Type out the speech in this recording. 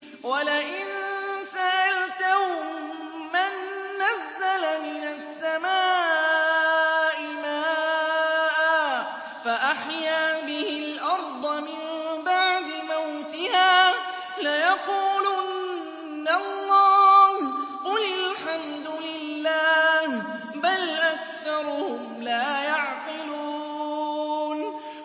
وَلَئِن سَأَلْتَهُم مَّن نَّزَّلَ مِنَ السَّمَاءِ مَاءً فَأَحْيَا بِهِ الْأَرْضَ مِن بَعْدِ مَوْتِهَا لَيَقُولُنَّ اللَّهُ ۚ قُلِ الْحَمْدُ لِلَّهِ ۚ بَلْ أَكْثَرُهُمْ لَا يَعْقِلُونَ